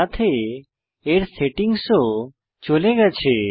সাথে এর সেটিংস ও চলে গেছে